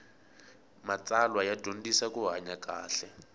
matsalwa ya dyondzisa ku hanya kahle